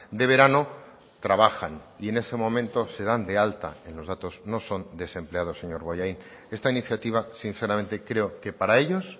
de verano trabajan y en ese momento se dan de alta en los datos no son desempleados señor bollain esta iniciativa sinceramente creo que para ellos